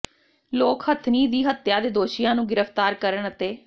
ਲੋਕ ਹਥਿਨੀ ਦੀ ਹੱਤਿਆ ਦੇ ਦੋਸ਼ੀਆਂ ਨੂੰ ਗ੍ਰਿਫਤਾਰ ਕਰਨ ਅਤੇ